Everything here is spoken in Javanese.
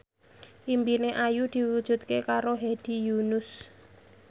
impine Ayu diwujudke karo Hedi Yunus